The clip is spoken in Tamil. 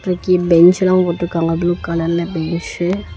பெஞ்சுலா போட்டுருக்காங்க ப்ளு கலர்ல பெஞ்சு .